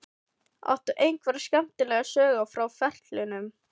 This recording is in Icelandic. Áttu einhverja skemmtilega sögu frá ferlinum?